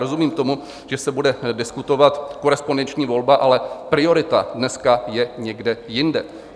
Rozumím tomu, že se bude diskutovat korespondenční volba, ale priorita dnes je někde jinde.